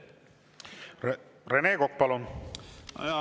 Rene Kokk, palun!